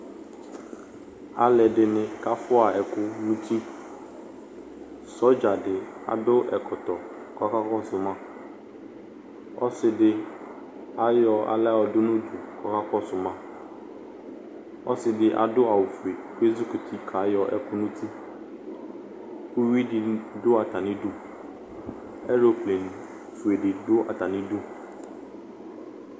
Alʋ ɛdini kafua ɛkʋ nʋ uti Sɔdza di adʋ ɛkɔtɔ kʋ ɔkakɔsʋ ma Ɔsi di ayɔ aɣla yɔdʋ nʋ unuku kʋ ɔkakɔsʋ ma Ɔsi di adʋ awʋ fue kʋ ezukʋti kayɔ ɛkʋ nʋ uti Uwui di ni dʋ atami idu Ɛlople fue di dʋ atami idu